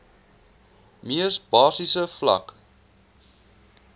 mees basiese vlak